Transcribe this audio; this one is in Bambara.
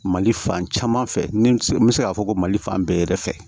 Mali fan caman fɛ ni n bɛ se k'a fɔ ko mali fan bɛɛ yɛrɛ fɛ